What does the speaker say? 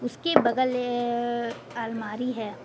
इसके बगल अह अलमारी है।